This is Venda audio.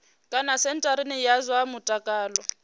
kana sentharani ya zwa mutakalo